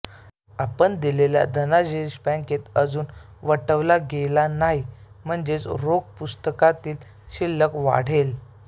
आपण दिलेला धनादेश बँकेत अजून वटवला गेला नाही म्हणजेच रोख पुस्तकातील शिल्लक वाढेल